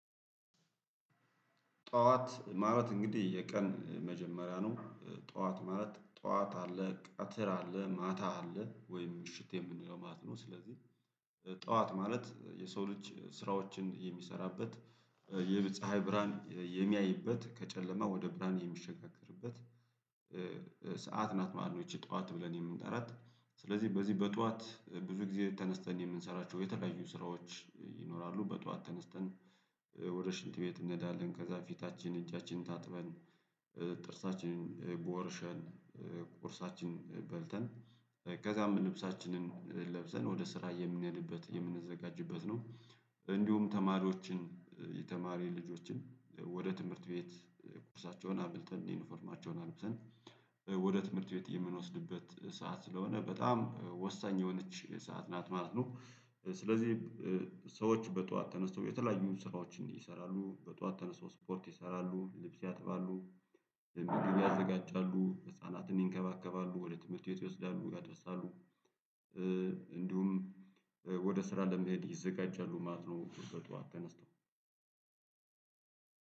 ጠዋት ማለት እንግዲህ የቀን መጀመሪያ ነው ጠዋት ማለት ጠዋት አለ ቀትር አለ ማታ አለ ወይም ምሽት የምንለው ማት ነው። ስለዚህ ጠዋት ማለት የሰው ልጅ ስራዎችን የሚሰራበት የፀሀይ ብርሃን የሚያይበት ከጨለማ ወደ ብርሃን የሚሸጋገርበት። ሰዓት ናት ማለት ነው ይቺ ጠዋት ብለን የምንጠራት። ስለዚህ በዚህ በጠዋት ብዙ ጊዜ ተነስተን የምንሰራቸው የተለያዩ ስራዎች ይኖራሉ በጧት ተነስተን ወደ ሽንት ቤት እንሄዳለን ከዛ ፊታችን እጃችንን ታጥበን ጥርሳችንን ቦርሸን ቁርሳችን በልተን ከዛም ልብሳችንን ለብሰን ወደ ስራ የምንሄድበት የምንዘጋጅበት ነው። እንዲሁም ተማሪዎችን የተማሪ ልጆችን ወደ ትምህርት ቤት ቁርሳቸውን አብልተን ይ ዩኒፎርማቸውን አልብሰን ወደ ትምህርት ቤት የምንወስድበት ሰዓት ስለሆነ በጣም ወሳኝ የሆነች ሰዓት ናት ማለት ነው። ስለዚህ ሰዎች በጠዋት ተነስተው የተለያዩ ስራዎችን ይሰራሉ በጠዋት ተነስተው ስፖርት ይሰራሉ ልብስ ያጥባሉ ምግብ ያዘጋጃሉ ህፃናትን ይንከባከባሉ ወደ ትምህርት ቤት ይወስዳሉ ያደርሳሉ። እንዲሁም ወደ ስራ ለመሄድ ይዘጋጃሉ ማለት ነው በጠዋት ተነስተው